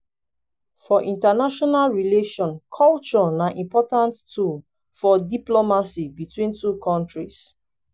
for international relation culture na important tool for diplomacy between two countries